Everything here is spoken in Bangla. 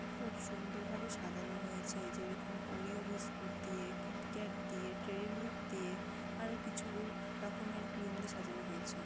খুব সুন্দরভাবে সাজানো হয়েছে যেরকম ওরিও বিস্কুট দিয়ে কিটক্যাট - দিয়ে ডেইরি মিল্ক -দিয়ে আরও কিছু রকমের ক্রিম দিয়ে সাজানো হয়েছে ।